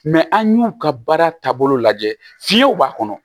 an y'u ka baara taabolo lajɛ fiyew b'a kɔnɔ